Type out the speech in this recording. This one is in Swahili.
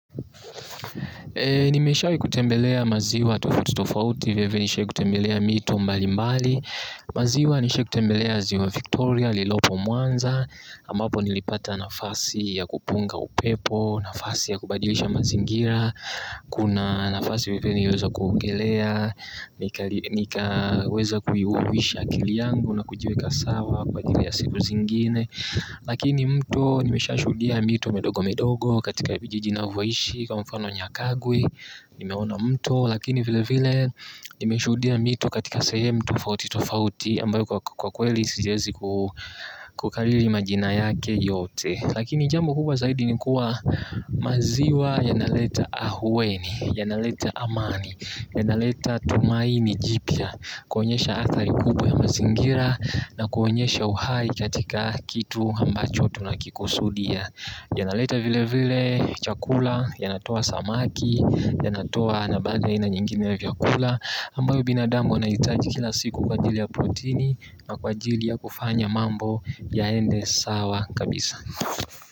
Eee nimeshawahi kutembelea maziwa tofauti tofauti vilevile nishai kutembelea mito mbalimbali. Maziwa nishai kutembelea ziwa Victoria, ililopo Mwanza ambapo nilipata nafasi ya kupunga upepo, nafasi ya kubadilisha mazingira. Kuna nafasi vilevile niliweza kuogelea, nikaweza kuiuhuisha akili yangu na kujiweka sawa kwa ajili ya siku zingine. Lakini mto nimeshashuhudia mito midogo midogo katika vijiji navyoishi kwa mfano nyakagwi, nimeona mto lakini vile vile nimeshuhudia mito katika sehemu tofauti tofauti ambayo kwa kweli sijaezi kukariri majina yake yote. Lakini jambo kubwa zaidi ni kuwa maziwa yanaleta ahuweni, yanaleta amani. Yanaleta tumaini jipya kuonyesha athari kubwa ya mazingira na kuonyesha uhai katika kitu ambacho tunakikusudia. Yanaleta vile vile chakula yanatoa samaki, yanatoa na baadhi ya aina nyingine ya vyakula ambayo binadamu anahitaji kila siku kwa ajili ya proteini na kwa ajili ya kufanya mambo yaende sawa kabisa.